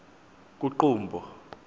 kuqumbu